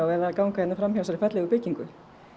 eða ganga hérna framhjá þessari fallegu byggingu